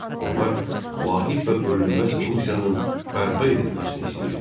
Onlar vahid və bölünməz Rusiyanın bərpa edilməsini istəyirdilər.